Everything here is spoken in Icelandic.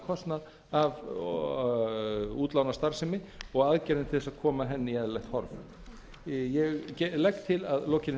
kostnað af útlánastarfsemi og aðgerðum til þess að koma henni í eðlilegt horf ég legg til að að lokinni